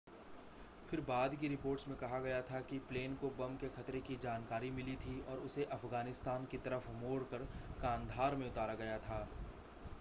फिर बाद की रिपोर्ट्स में कहा गया था कि प्लेन को बम के ख़तरे की जानकारी मिली थी और उसे अफ़गानिस्तान की तरफ़ मोड़कर कांधार में उतारा गया था